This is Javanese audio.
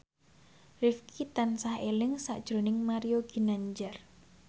Rifqi tansah eling sakjroning Mario Ginanjar